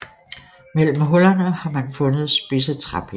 Mellem hullerne har man fundet spidse træpinde